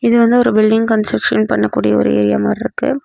இது வந்து ஒரு பில்டிங் கன்ஸ்ட்ரக்க்ஷன் பண்ணக்கூடிய ஒரு ஏரியா மாரி இருக்கு.